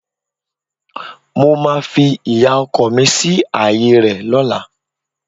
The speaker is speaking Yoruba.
Mo máa fi ìyá ọkọ mi sí ààyè rẹ̀ lọ́la